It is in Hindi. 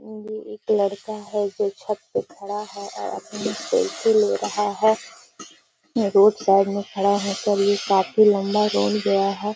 ये लड़का है जो छत पे खड़ा है और अपनी सेल्फी ले रहा है। ये रोड साइड में खड़ा होकर ये काफी लम्बा रोड गया है। .